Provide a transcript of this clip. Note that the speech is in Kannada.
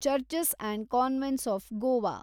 churches and convents of Goa